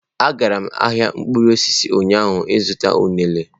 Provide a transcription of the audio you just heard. A gara m ahịa mkpụrụ osisi ụnyaahụ ịzụta unere.